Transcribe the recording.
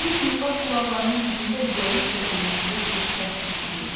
Bembənin lap qulaqlarının dibində zəif və gurultulu bir səs eşidildi.